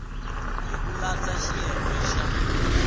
hi ku landza xiyenge xa